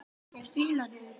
sagði Óskar.